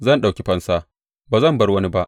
Zan ɗauki fansa; ba zan bar wani ba.